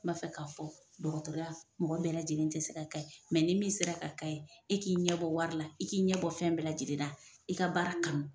M'a fɛ k'a fɔ dɔgɔtɔrɔya mɔgɔ bɛɛ lajɛlen tɛ se ka ye mɛ ni min sera ka ka ye, e k'i ɲɛ bɔ wari la, i k'i ɲɛ bɔ fɛn bɛɛ lajɛlen la, i ka baara kanu.